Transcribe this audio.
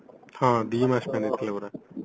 ହଁ ଦି ମାସ ପାଇଁ ନେଇଥିଲେ ପରା